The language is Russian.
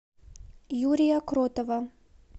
юрия кротова